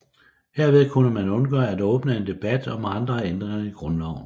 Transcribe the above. Herved kunne man undgå at åbne en debat om andre ændringer i grundloven